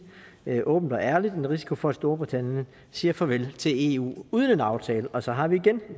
åbent og ærligt en risiko for at storbritannien siger farvel til eu uden en aftale og så har vi igen